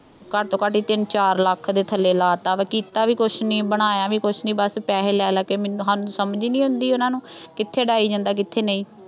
ਘੱਟੋਂ ਤੋਂ ਘੱਟ ਹੀ ਤਿੰਨ ਚਾਰ ਲੱਖ ਦੇ ਥੱਲੇ ਲਾ ਤਾ ਵਾ ਕੀਤਾ ਵੀ ਕੁੱਛ ਨਹੀਂ, ਬਣਇਆ ਵੀ ਕੁੱਛ ਨਹੀਂ, ਬੱਸ ਪੈਸੇ ਲੈ ਲੈ ਕੇ ਮੈਨੂੰ ਸਾਨੂੰ ਸਮਝ ਨਹੀਂ ਆਉਂਦੀ ਉਹਨਾ ਨੂੰ ਕਿੱਥੇ ਉਡਾਈ ਜਾਂਦੇ, ਕਿੱਥੇ ਨਹੀਂ।